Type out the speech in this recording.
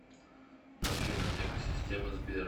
афина эко система сбера